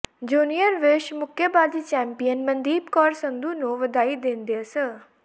junior ਵਿਸ਼ਵ ਮੁੱਕੇਬਾਜ਼ੀ champion Mandeep Kaur Sandhu ਨੂੰ ਵਧਾਈ ਦਿੰਦਿਆਂ ਸ